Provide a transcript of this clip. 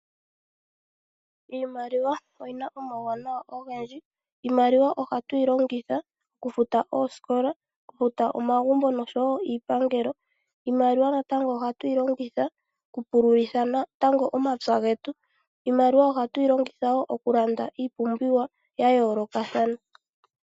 Iimaliwa oyi na omauwanawa ogendji, iimaliwa oha tu yi longitha oku futa oosikola, oku futa omagumbo osho woo iipangelo, iimaliwa natango oha tu yi longitha, natango omapya getu, iimaliwa oha tu yi longitha wo oku landa iipumbiwa ya yoolokathana.